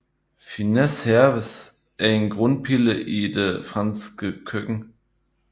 Fines herbes er en grundpille i det franske køkken